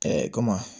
komi